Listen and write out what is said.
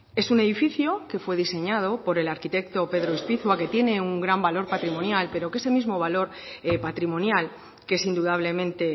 es un edificio que fue diseñado por el arquitecto pedro ispizua que tiene un gran valor patrimonial pero que ese mismo valor patrimonial que es indudablemente